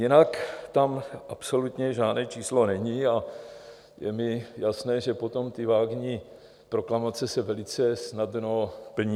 Jinak tam absolutně žádné číslo není a je mi jasné, že potom ty vágní proklamace se velice snadno plní.